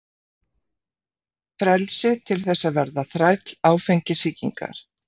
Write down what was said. Frelsi til þess að verða þræll áfengissýkinnar?